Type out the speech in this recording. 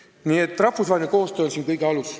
Nii et rahvusvaheline koostöö on siin kõige alus.